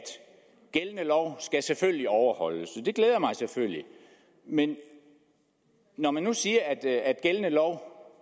gældende lov selvfølgelig skal overholdes det glæder mig selvfølgelig men når man nu siger at at gældende lov